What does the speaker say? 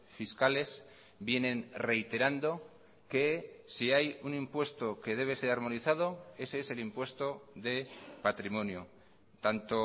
fiscales vienen reiterando que si hay un impuesto que debe ser armonizado ese es el impuesto de patrimonio tanto